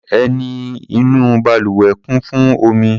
Ẹní inú balùwẹ̀ kún fún omi.